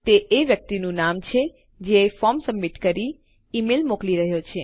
અને તે એ વ્યક્તિનું નામ છે જે ફોર્મ સબમિટ કરી ઈમેલ મોકલી રહ્યો છે